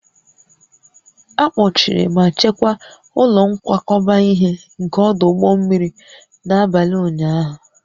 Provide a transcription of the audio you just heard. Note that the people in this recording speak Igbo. A kpọchiri ma chekwaa ụlọ nkwakọba ihe nke ọdụ ụgbọ mmiri n'abalị ụnyahụ